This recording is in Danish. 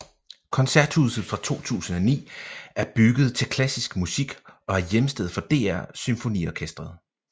Koncerthuset fra 2009 er bygget til klassisk musik og er hjemsted for DR SymfoniOrkestret